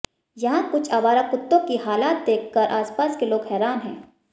यहां कुछ आवारा कुत्तों की हालात देखकर आसपास के लोग हैरान हैं